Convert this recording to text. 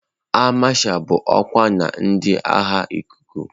Áà Masha bụ ọkwa na ndị agha ikuku.